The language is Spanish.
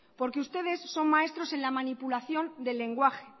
porque ustedes son maestros en la manipulación del lenguaje